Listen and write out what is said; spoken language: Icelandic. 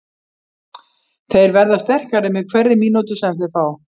Þeir verða sterkari með hverri mínútu sem þeir fá.